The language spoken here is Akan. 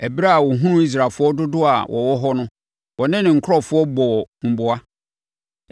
Ɛberɛ a ɔhunuu Israelfoɔ dodoɔ a wɔwɔ hɔ no, ɔne ne nkurɔfoɔ bɔɔ huboa.